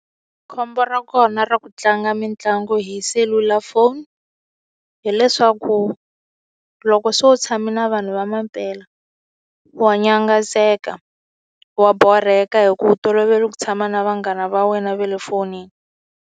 Khombo ra kona ra ku tlanga mitlangu hi selulafoni hileswaku, loko se u tshame na vanhu va mampela, wa nyangatseka. Wa borheka hikuva tolovela ku tshama na vanghana va wena va le fonini.